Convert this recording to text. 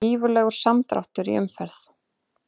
Gífurlegur samdráttur í umferð